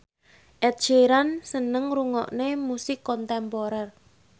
Ed Sheeran seneng ngrungokne musik kontemporer